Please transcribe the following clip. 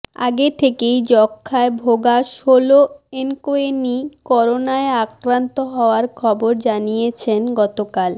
আগে থেকেই যক্ষায় ভোগা সোলো এনকোয়েনি করোনায় আক্রান্ত হওয়ার খবর জানিয়েছেন গতকাল